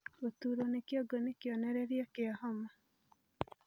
Guturwo ni kĩongo ni kionererĩa kia homa